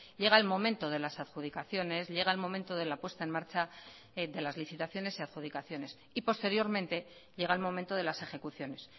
llega el momento de las adjudicaciones llega el momento de la puesta en marcha de las licitaciones y adjudicaciones y posteriormente llega el momento de las ejecuciones